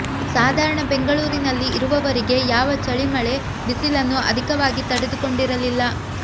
ಸಾಧಾರಣ ಬೆಂಗಳೂರಿನಲ್ಲಿ ಇರುವವರಿಗೆ ಯಾವ ಛಳಿ ಮಳೆ ಬಿಸಿಲನ್ನು ಅಧಿಕವಾಗಿ ತಡೆದುಕೊಂಡಿರಲ್ಲಿಲ್ಲ